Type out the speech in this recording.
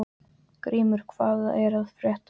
Grímur, hvað er að frétta?